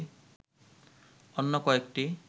অন্য কয়েকটি